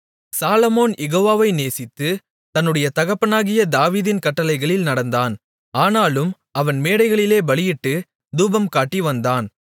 சாலொமோன் யெகோவாவை நேசித்து தன்னுடைய தகப்பனாகிய தாவீதின் கட்டளைகளில் நடந்தான் ஆனாலும் அவன் மேடைகளிலே பலியிட்டுத் தூபம்காட்டி வந்தான்